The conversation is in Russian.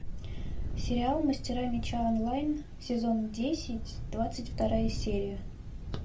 сериал мастера меча онлайн сезон десять двадцать вторая серия